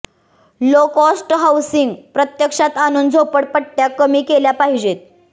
low cost housing प्रत्यक्षात आणून झोपडपट्ट्या कमी केल्या पाहिजेत